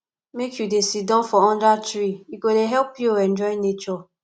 make you dey siddon for under tree e go dey help you enjoy nature